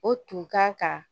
O tun kan ka